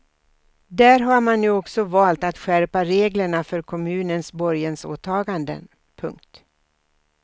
Där har man nu också valt att skärpa reglerna för kommunens borgensåtaganden. punkt